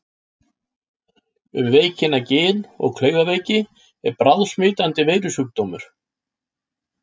Um veikina Gin- og klaufaveiki er bráðsmitandi veirusjúkdómur.